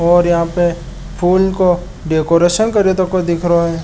और यहाँ पे फूल को डेकोरेशन कर्यो तको दिख रो है।